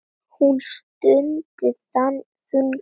Hún stundi þungan.